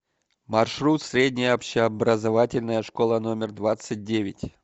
маршрут средняя общеобразовательная школа номер двадцать девять